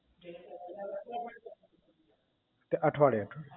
કે અઠવાડિયે અઠવાડિયે